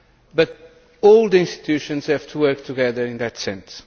But all the institutions have to work together in that sense.